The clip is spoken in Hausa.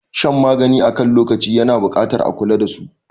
Shan magani akan lokaci yana buƙatar a kula dasu.